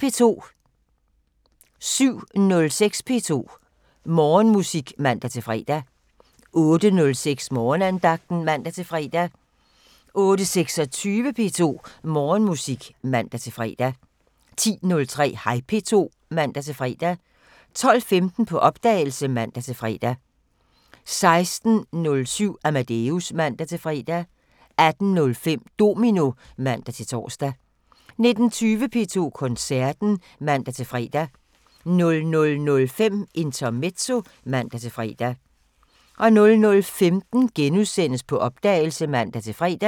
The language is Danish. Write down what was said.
07:06: P2 Morgenmusik (man-fre) 08:06: Morgenandagten (man-fre) 08:26: P2 Morgenmusik (man-fre) 10:03: Hej P2 (man-fre) 12:15: På opdagelse (man-fre) 16:07: Amadeus (man-fre) 18:05: Domino (man-tor) 19:20: P2 Koncerten (man-fre) 00:05: Intermezzo (man-fre) 00:15: På opdagelse *(man-fre)